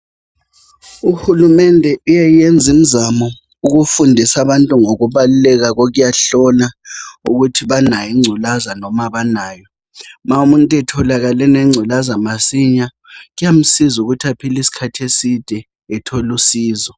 UHulumende uyayenza imzamo ukufundisa abantu ngokubaluleka kokuyahlola ukuthi banayo ingculaza noma abanayo ma umuntu etholakale enengculaza masinya kuyamsiza ukuthi aphile iskhathi eside ethol' usizo.